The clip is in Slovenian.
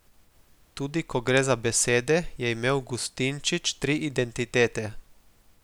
Tudi ko gre za besede, je imel Gustinčič tri identitete.